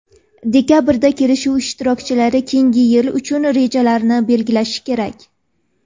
Dekabrda kelishuv ishtirokchilari keyingi yil uchun rejalarni belgilashi kerak.